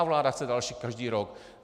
A vláda chce další každý rok.